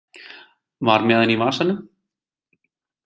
Var með hann í vasanum